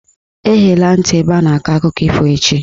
Eghela ntị ebe a na-akọ akụkọ ifo echi "!